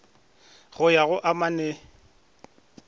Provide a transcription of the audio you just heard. go ya go a mane